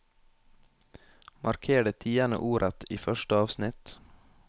Marker det tiende ordet i første avsnitt